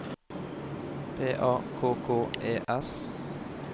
P A K K E S